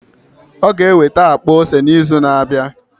Ọ ga-eweta akpa ose n'izu na-abịa.